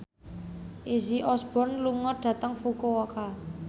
Izzy Osborne lunga dhateng Fukuoka